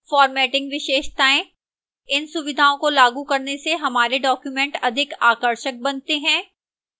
formatting विशेषताएं: इन सुविधाओं को लागू करने से हमारे documents अधिक आकर्षक बनते हैं